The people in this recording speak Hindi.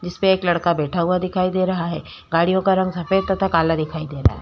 इसपे एक लड़का बैठा हुवा दिखाई दे रहा है। गाडियों का रंग सफेद तथा काला दिखाई दे रहा है।